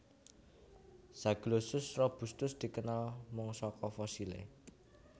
Zaglossus robustus dikenal mung saka fosilé